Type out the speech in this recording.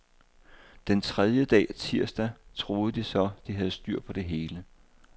Den tredje dag, tirsdag, troede de så, de havde styr på det hele.